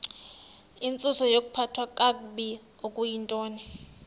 intsusayokuphathwa kakabi okuyintoni